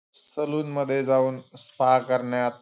salon मध्ये जाऊन spa करण्यात--